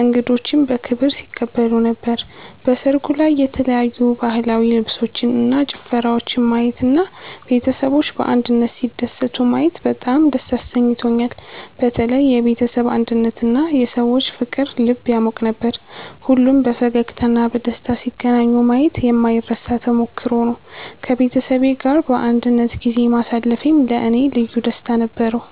እንግዶችንም በክብር ሲቀበሉ ነበር። በሰርጉ ላይ የተለያዩ ባህላዊ ልብሶችን እና ጭፈራወችን ማየት እና ቤተሰቦች በአንድነት ሲደሰቱ ማየት በጣም ደስ አሰኝቶኛል። በተለይ የቤተሰብ አንድነትና የሰዎች ፍቅር ልብ ያሟቅ ነበር። ሁሉም በፈገግታ እና በደስታ ሲገናኙ ማየት የማይረሳ ተሞክሮ ነበር። ከቤተሰቤ ጋር በአንድነት ጊዜ ማሳለፌም ለእኔ ልዩ ደስታ ነበረው።